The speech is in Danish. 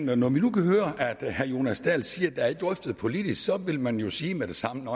gør når vi nu kan høre at herre jonas dahl siger det er drøftet politisk så vil man jo sige med det samme